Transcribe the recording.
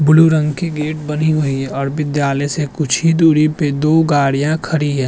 Blue रंग की gate बनी हुई और विद्यालय से कुछ ही दूरी पे दो गाड़ियां खड़ी हैं।